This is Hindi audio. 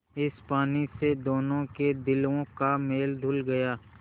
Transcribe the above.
इस पानी से दोनों के दिलों का मैल धुल गया